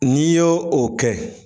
N'i y'o o kɛ